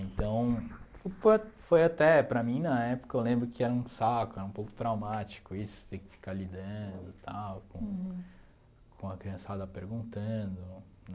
Então, foi até, para mim, na época, eu lembro que era um saco, era um pouco traumático isso, ter que ficar lidando e tal, com com a criançada perguntando, né?